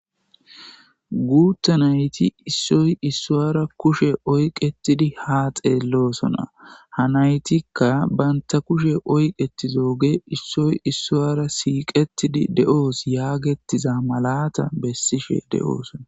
guutta nayti issoy issowara kushe oyqetidi ha xeellosona ha naytikka banta kushe oyqetizoge issoy issoara siiqetidi de7oos yaagettiza malata bessishe de7oosona